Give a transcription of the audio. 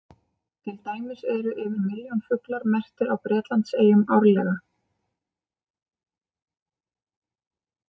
Til dæmis eru yfir milljón fuglar merktir á Bretlandseyjum árlega.